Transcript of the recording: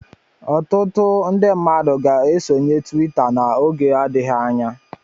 Ọtụtụ ndị mmadụ ga-esonye twita n'oge adịghị anya.